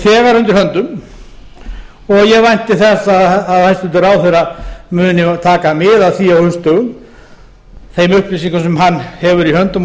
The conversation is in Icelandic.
þegar undir höndum og ég vænti þess að hæstvirtur ráðherra muni taka mið af því á haustdögum þeim upplýsingum sem hann hefur í höndum og